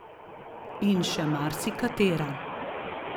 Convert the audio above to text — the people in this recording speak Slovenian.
In še marsikatera.